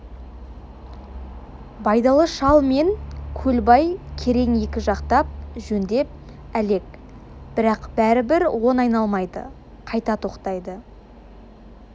байдалы шал мен көлбай керең екі жақтап жөндеп әлек бірақ бәрібір он айналмайды қайта тоқтайды